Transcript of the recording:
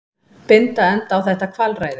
Binda enda á þetta kvalræði.